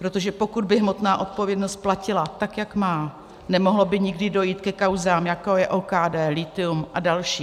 Protože pokud by hmotná odpovědnost platila tak, jak má, nemohlo by nikdy dojít ke kauzám, jako je OKD, lithium a další.